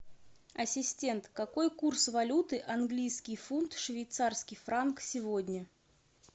ассистент какой курс валюты английский фунт швейцарский франк сегодня